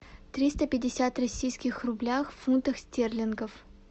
триста пятьдесят российских рублях в фунтах стерлингов